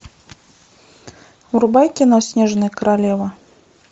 врубай кино снежная королева